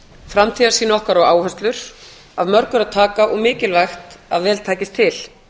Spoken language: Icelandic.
framtíðarsýn okkar og áherslur af mörgu er að taka og mikilvægt að vel takist til